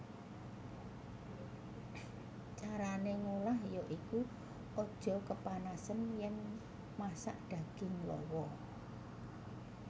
Carané ngolah ya iku aja kepanasen yèn masak daging lawa